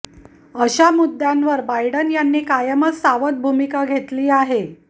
अशा मुद्द्यांवर बायडन यांनी कायमच सावध भूमिका घेतली आहे